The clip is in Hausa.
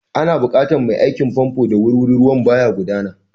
Ana buƙatar mai aikin famfo da wuri-wuri, ruwan ba ya gudana.